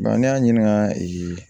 ne y'a ɲininka ee